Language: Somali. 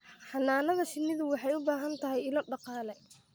Xannaanada shinnidu waxay u baahan tahay ilo dhaqaale.